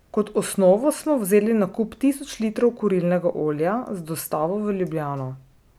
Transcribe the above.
Kot osnovo smo vzeli nakup tisoč litrov kurilnega olja z dostavo v Ljubljano.